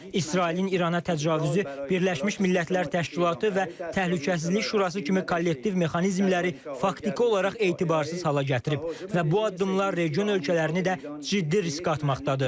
İsrailin İrana təcavüzü Birləşmiş Millətlər Təşkilatı və Təhlükəsizlik Şurası kimi kollektiv mexanizmləri faktiki olaraq etibarsız hala gətirib və bu addımlar region ölkələrini də ciddi riskə atmaqdadır.